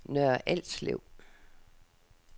Nørre Alslev